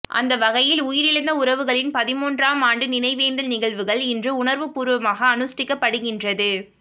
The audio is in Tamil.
அந்த வகையில் உயிரிழந்த உறவுகளின் பதின்மூன்றாம் ஆண்டு நினைவேந்தல் நிகழ்வுகள் இன்று உணர்வுபூர்வமாக அனுஷ்டிக்கப்படுகின்றது